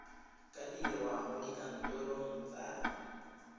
ka dirwa mo dikantorong tsa